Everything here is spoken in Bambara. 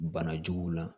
Bana juguw la